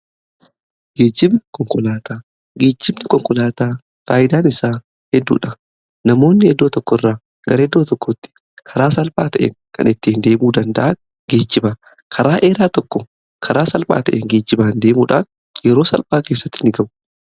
Geejibni konkolaataa, geejibni konkolaataa faayyidaan isaa hedduudha namoonni eddoo tokko irraa gara eeddoo tokkotti karaa salphaa ta'een kan ittii deemuu danda'an geejiba. Karaa dheeraa tokko karaa salphaa ta'e geejibaa deemuudhaan yeroo salphaa keessattii gahu.